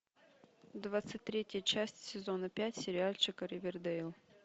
двадцать третья часть сезона пять сериальчика ривердейл